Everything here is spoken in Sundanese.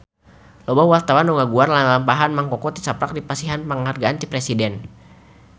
Loba wartawan anu ngaguar lalampahan Mang Koko tisaprak dipasihan panghargaan ti Presiden